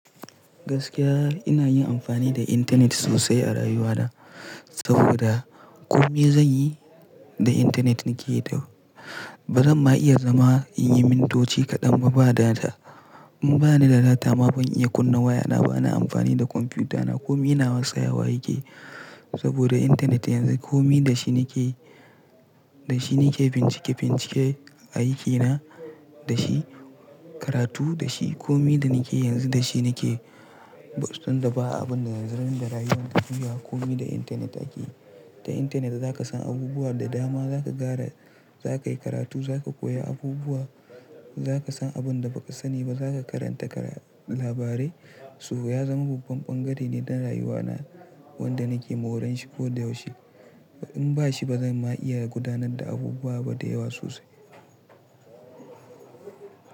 Gaskiya ina yin amfani da intanet sosai a rayuwana, saboda komai zan yi da intanet nike yi. Baramma iya zama in yi mintoci kaɗan ma ba da data. In bani da data ma ban iya kunna wayana ba, na amfani da kwamfutana. Komai nawa tsayawa yake saboda intanet yanzu komai da shi nike, da shi nike bincike-bincike a aikina, da shi karatu, da shi komai da nike yanzu da shi nikeyi. Bastan da ba abin da zan zama yin da rayuwa ta juya komai da intanet ake yi. Da intanet za ka san abubuwa da dama, za ka gara, za ka yi karatu, za ka koya abubuwa, za ka san abin da ba ka sani ba, za ka karanta labarai. Sabo ya zama babban bangare ne na rayuwana wanda nike ma horon shi ko da yaushe. In ba shi ba zan ma iya gudanar da abubuwa ba da yawa sosai.